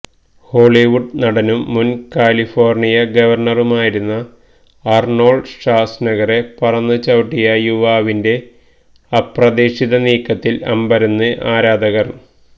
Hollywood നടനും മുന് California ഗവര്ണറുമായിരുന്ന അര്നോള്ഡ് ഷ്വാസ്നഗറെ പറന്ന് ചവിട്ടിയ യുവാവിന്റെ അപ്രതീക്ഷിത നീക്കത്തില് അമ്പരന്ന് ആരാധകര്